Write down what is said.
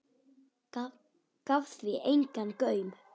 Gaf því engan gaum.